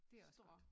Det også godt